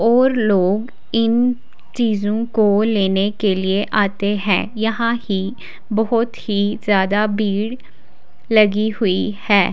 और लोग इन चीजों को लेने के लिए आते हैं यहां ही बहुत ही ज्यादा भीड़ लगी हुई है।